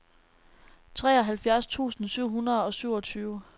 treoghalvfjerds tusind syv hundrede og syvogtyve